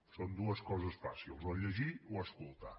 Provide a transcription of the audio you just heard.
són dues coses fàcils o llegir o escoltar